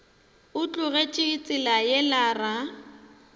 o tlogetše tsela yela ra